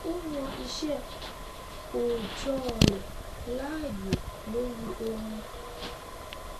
o yan iṣẹ òòjọ rẹ láàyò lori ohun